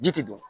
Ji tɛ dun